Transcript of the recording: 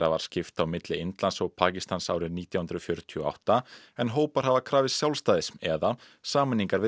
var skipt á milli Indlands og Pakistans árið nítján hundruð fjörutíu og átta en hópar hafa krafist sjálfstæðis eða sameiningar við